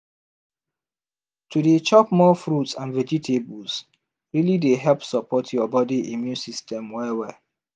to dey chop more fruits and vegetables really dey help support your body immune system well well